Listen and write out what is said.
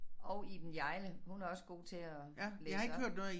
Og Iben Hjejle hun er også god til at læse op